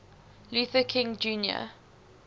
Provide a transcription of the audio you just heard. luther king jr